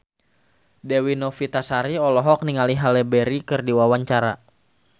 Dewi Novitasari olohok ningali Halle Berry keur diwawancara